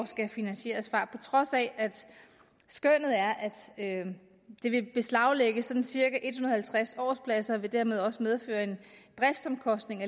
skal finansieres på trods af at skønnet er at det vil beslaglægge sådan cirka en hundrede og halvtreds årspladser og dermed også medføre en driftsomkostning